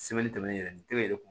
yɛrɛ ni kelen yɛrɛ kun